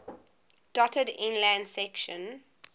dotted inland sections